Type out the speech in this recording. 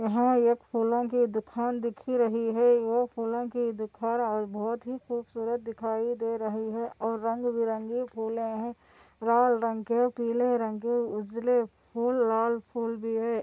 यहाँ एक फूलो की दुकान दिखी रही है। वह फूलो की दुखार आज बहुत ही खूबसूरत दिखाई दे रही है और रंग भी रंगे फुले है लाल रंग के पिले रंग के उजले फूल लाल फूल भी है।